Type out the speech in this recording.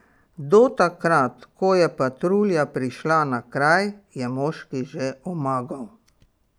Do takrat, ko je patrulja prišla na kraj, je moški že omagal.